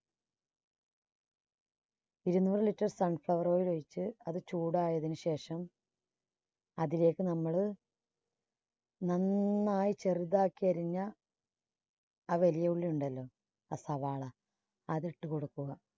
ഇരുനൂറ് litre sun flower oil ഒഴിച്ച് അത് ചൂടായതിനുശേഷം അതിലേക്ക് നമ്മള് നന്നായി ചെറുതാക്കി അരിഞ്ഞ ആ വലിയ ഉള്ളി ഉണ്ടല്ലോ ആ സവാള അത് ഇട്ടു കൊടുക്കുക.